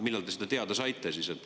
Millal te seda teada saite?